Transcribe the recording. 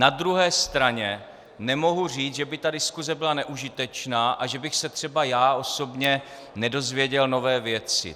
Na druhé straně nemohu říct, že by ta diskuse byla neužitečná a že bych se třeba já osobně nedověděl nové věci.